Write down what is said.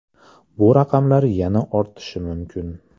Bu raqamlar yana ortishi mumkin.